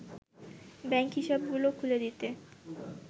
bank হিসাবগুলো খুলে দিতে